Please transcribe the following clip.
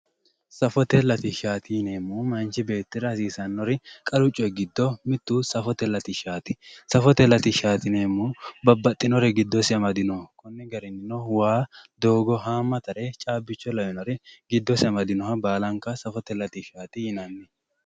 safote latishshati yineemmori gido manchi beetira hasiisannohu giddo mitto safote latishshaati yineemmo babbaxinore giddosi amadinoho lawishshaho waa doogo haamatare caabbicho